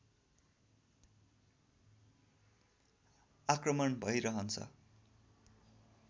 आक्रमण भै रहन्छ